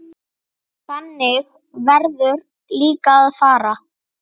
Þannig verður líka að fara.